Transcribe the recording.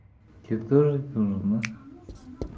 тебе тоже нужно да